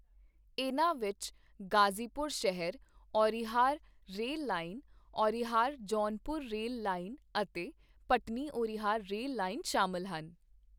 ਇਨ੍ਹਾਂ ਵਿੱਚ ਗਾਜੀਪੁਰ ਸ਼ਹਿਰ Aunrihar rail line, Aunrihar Jaunpur rail line ਅਤੇ ਭਟਨੀ ਔਰਿਹਾਰ ਰੇਲ ਲਾਈਨ ਸ਼ਾਮਲ ਹਨ।